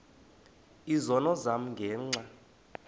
izono zam ngenxa